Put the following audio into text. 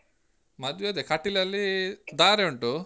ಮದ್ವೆ ಅದೆ ಕಟೀಲಲ್ಲೀ ಧಾರೆ ಉಂಟು.